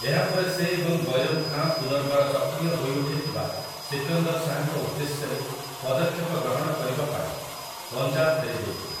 ଏହାପରେ ସେ ଏବଂ ବୈରମ୍ ଖାଁ ପୁନର୍ବାର ସକ୍ରିୟ ହୋଇଉଠିଥିବା ସିକନ୍ଦର୍ ଶାହାଙ୍କ ଉଦ୍ଦେଶ୍ୟରେ ପଦକ୍ଷେପ ଗ୍ରହଣ କରିବା ପାଇଁ ପଞ୍ଜାବ ଫେରିଯାଇଥିଲେ ।